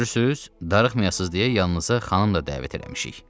Görürsüz, darıxmayasız deyə yanınıza xanım da dəvət eləmişik.